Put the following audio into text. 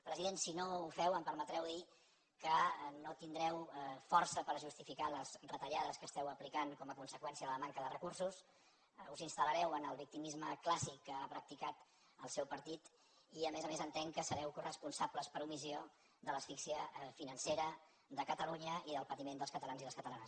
president si no ho feu em permetreu dir que no tindreu força per justificar les retallades que apliqueu com a conseqüència de la manca de recursos us installareu en el victimisme clàssic que ha practicat el seu partit i a més a més entenc que sereu coresponsables per omissió de l’asfíxia financera de catalunya i del patiment dels catalans i les catalanes